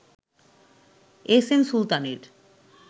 SM সুলতানের